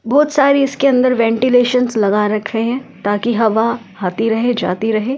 बहुत सारी इसके अंदर वेंटिलेशंस लगा रखे हैं ताकि हवा आती रहे जाती रहे है ।